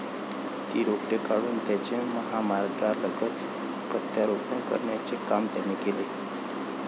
ती रोपटी काढून त्याचे महामार्गालगत प्रत्यारोपण करण्याचे काम त्यांनी केले.